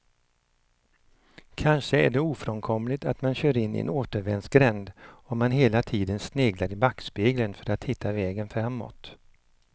Kanske är det ofrånkomligt att man kör in i en återvändsgränd om man hela tiden sneglar i backspegeln för att hitta vägen framåt.